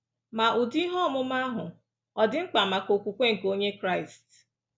Ma, ụdị ihe ọmụma ahụ ọ̀ dị mkpa maka okwukwe nke Onye Kraịst?